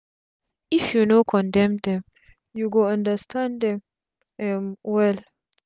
if u no condem dem u go understand dem um well